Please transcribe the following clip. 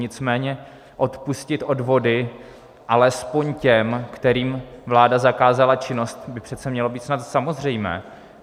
Nicméně odpustit odvody alespoň těm, kterým vláda zakázala činnost, by přece mělo být snad samozřejmé.